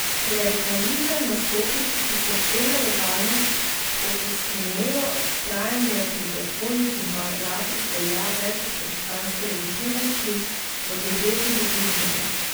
Klerikalizem nastopi, ko cerkvena legalnost, okostenelo vztrajanje pri zakonih in paragrafih velja več od krščanske legitimnosti, od ljubezni do bližnjega.